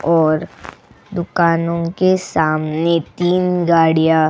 और दुकानों के सामने तीन गाड़ियां --